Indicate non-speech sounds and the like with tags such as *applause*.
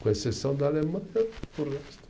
Com exceção da Alemanha *unintelligible*